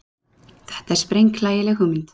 Þetta er sprenghlægileg hugmynd.